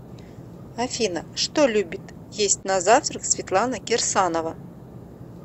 афина что любит есть на завтрак светлана кирсанова